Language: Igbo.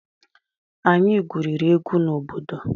Anyị gwuriri egwu na obodo.